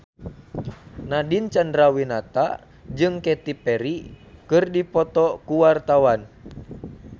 Nadine Chandrawinata jeung Katy Perry keur dipoto ku wartawan